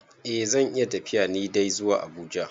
Eh zan iya tafiya ni dai zuwa Abuja.